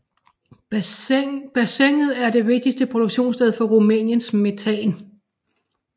Bassinet er det vigtigste produktionssted for Rumæniens metan